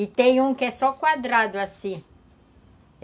E tem um que é só quadrado assim.